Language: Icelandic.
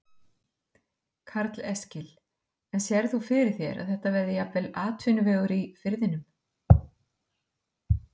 Karl Eskil: En sérð þú fyrir þér að þetta verði jafnvel atvinnuvegur í firðinum?